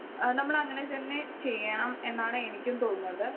Speaker 1 ഏഹ് നമ്മൾ അങ്ങനെ തന്നെ ചെയ്യണം എന്നാണ് എനിക്കും തോന്നുന്നത്.